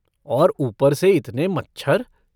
और ऊपर से इतने मच्छर।